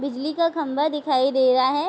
बिजली का खम्भा दिखाई दे रहा है।